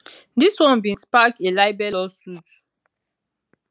dis one bin spark a libel lawsuit